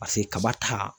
Paseke kaba ta